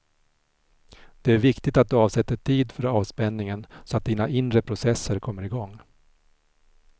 Det viktiga är att du avsätter tid för avspänningen så att dina inre processer kommer igång.